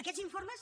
aquests informes